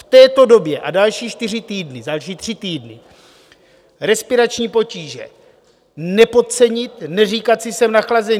V této době a další čtyři týdny, další tři týdny: respirační potíže nepodcenit, neříkat si jsem nachlazený.